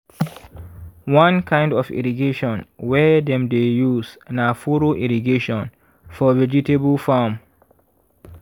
one kind of irrigation wey dem dey use na furrow irrigation for vegetable farm.